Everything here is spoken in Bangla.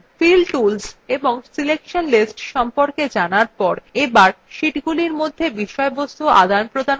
fill tools এবং selection lists সম্পকে জানার share এবার sheetsগুলির মধ্যে বিষয়বস্তু আদানপ্রদান করা নিয়ে আলোচনা করা যাক